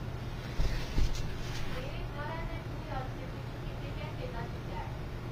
मेरे थाह्रै ते न्यूयार्क दे बिच्च किन्ने घैंटें दा छिंडा ऐ